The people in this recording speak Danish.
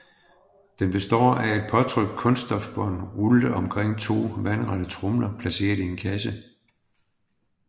Den består af et påtrykt kunststofbånd rullet omkring to vandrette tromler placeret i en kasse